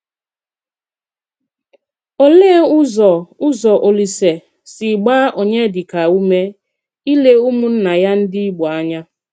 Òlee ụzọ ụzọ Òlísè si gbaa Onyedika ume ílé ụmụnná ya ndị Ìgbò ànya?